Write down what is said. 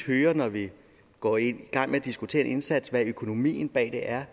når vi går i gang med at diskutere en indsats hvad økonomien bag det er